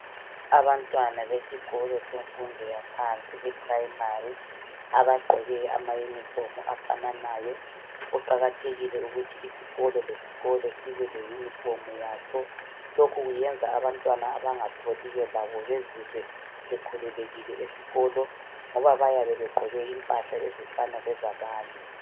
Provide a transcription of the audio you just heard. Abantwana besikolo semfundo yaphansi i-Primary. Abagqoke amayunifomu afananayo. Kuqakathekile ukuthi isikolo lesikolo sibe leyunifomu yaso lokhu kwenza abantwana abangatholiyo labo bezizwe bekhululekile esikolo ngoba bayabe begqoke impahla ezifana lezabanye.